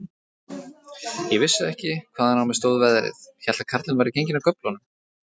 Ég vissi ekki, hvaðan á mig stóð veðrið, hélt að karlinn væri genginn af göflunum.